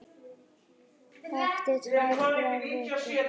Eftir tvær, þrjár vikur.